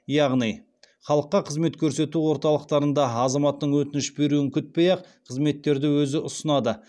яғни халыққа қызмет көрсету орталықтарында азаматтың өтініш беруін күтпей ақ қызметтерді өзі ұсынады